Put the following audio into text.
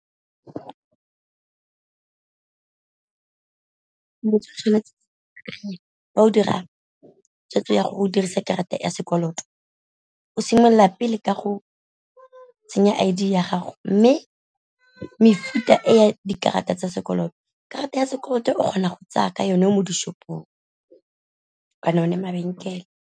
o dira tshwetso ya go dirisa karata ya sekoloto o simolola pele ka go tsenya I_D ya gago, mme mefuta e ya dikarata tsa sekoloto karata ya sekoloto o kgona go tsaya ka yone mo dishopong kana o ne mabenkele.